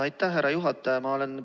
Aitäh, härra juhataja!